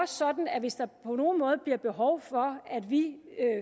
sådan at hvis der på nogen måde bliver behov for at vi